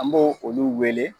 An b'o olu wele